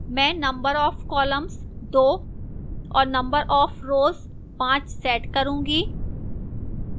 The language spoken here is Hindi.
मैं number of columns 2 और number of rows 5 set करूंगी